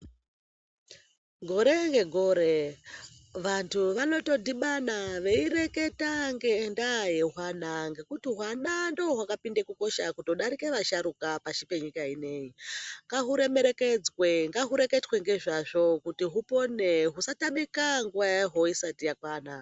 Gore ngegore vantu vanotodhibana veyi reketa ngendaa yehwana, ngekuti hwana ndohwakapinda kukosha kutodarika vasharuka pashi penyika ineyi, ngahuremerekedzwe, ngahureketwe ngezvazvo kuti hupone husatamika nguva yahwo isati yakwana.